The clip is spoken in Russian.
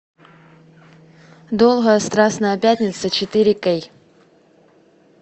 долгая страстная пятница четыре кей